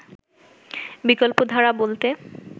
বিকল্পধারা বলতে